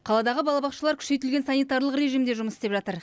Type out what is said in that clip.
қаладағы балабақшалар күшейтілген санитарлық режимде жұмыс істеп жатыр